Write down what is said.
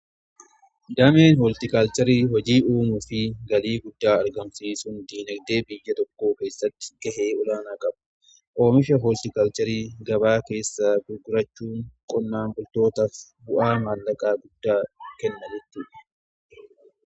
Dameen hooltikaalcharii hojii uumuu fi galii guddaa argarmsiisuun diinagdee biyya tokkoo keessatti gahee olaanaa qabu. Oomisha hooltikalcharii gabaa keessaa gugurachuun qonnaan bultootaaf bu'aa maallaqa guddaa kenna.